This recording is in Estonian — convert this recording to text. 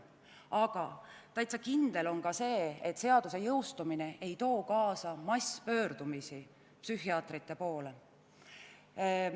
Aga täitsa kindel on see, et seaduse jõustumine ei too kaasa masspöördumist psühhiaatrite poole.